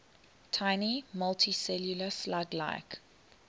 tiny multicellular slug like